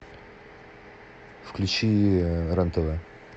включи рен тв